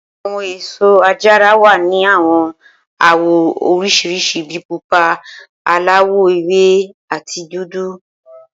Awọn eso ajara wa ni awọn awọ oriṣiriṣi bi pupa, alawọ ewe, ati dudu.